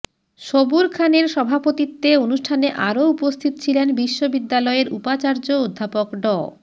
সবুর খানের সভাপতিত্বে অনুষ্ঠানে আরো উপস্থিত ছিলেন বিশ্ববিদ্যালয়ের উপাচার্য অধ্যাপক ড